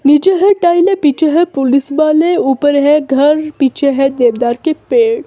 नीचे है टाइले पीछे है पुलिस वाले ऊपर है घर पीछे है देवदार के पेड़--